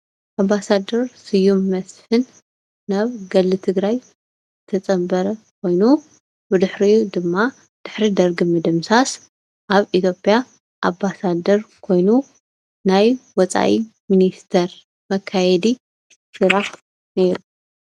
ኣምባሳደር ስዩም መስፍን ናብ ገድሊ ትግራይ ዝተፀምበረ ኮይኑ ብድሕሪኡ ድማ ድሕሪ ደርጊ ምድምሳስ አብ ኢትዮጵያ ኣምባሳደር ኮይኑ ናይ ወፃኢ ሚኒስተር መከየዲ ስራሕ ነይሩ::